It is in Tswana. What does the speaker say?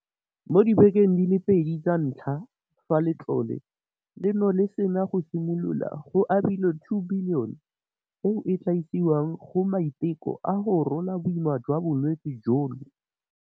Mo dibekeng di le pedi tsa ntlha fa letlole leno le sena go simolola, go abilwe R2 bilione, eo e tla isiwang go maiteko a go rola boima jwa bolwetse jono.